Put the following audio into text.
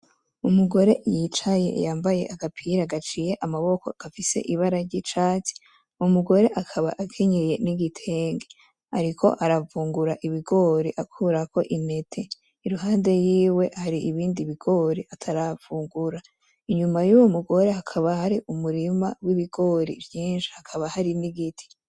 Umugore y'icaye yambaye agapira gaciye amaboko gafise ibara ry'icatsi, akaba akenyeye n'igitenge ariko aravungura ibigori akurako intete iruhande yiwe hari ibindi ataravungura inyuma yiwe hakaba umurima wavyo vyinshi, hari n'igiti.